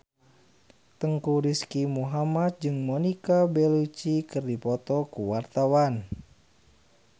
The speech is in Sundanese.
Teuku Rizky Muhammad jeung Monica Belluci keur dipoto ku wartawan